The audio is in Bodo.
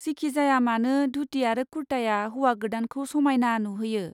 जिखिजायामानो, धुति आरो कुर्ताया हौवा गोदानखौ समायना नुहोयो।